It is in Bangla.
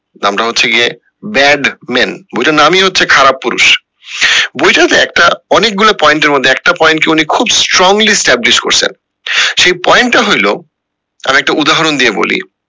নামটা হচ্ছে গিয়ে bad man বইটার নামই হচ্ছে খারাপ পুরুষ বইটার মধ্যে একটা অনেক গুলা point এর মধ্যে একটা point কে উনি খুব strongly established করসেন সেই point টা হইলো তার একটা উদাহরণ দিয়ে বলি